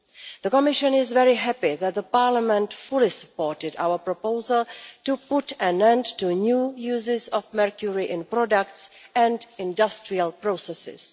The Commission is very happy that Parliament fully supported our proposal to put an end to new uses of mercury in products and industrial processes.